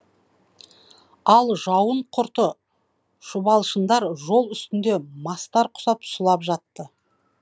ал жауын құрты шұбалшындар жол үстінде мастар құсап сұлап жатты